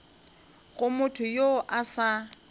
go motho yo a sa